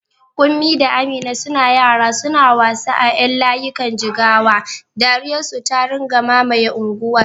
Kunmi da Amina suna yara suna wasa a ƴan layikan jigawa, dariyar su ta rinƙa mamaye unguwar.